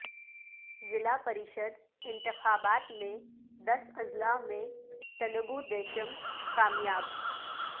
ضلع پریشد انتخابات میں دس اضلاع میں تلگو دیشم کامیاب